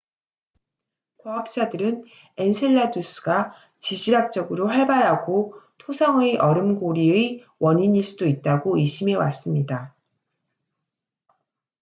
과학자들은 엔셀라두스가 지질학적으로 활발하고 토성의 얼음 고리의 원인일 수도 있다고 의심해왔습니다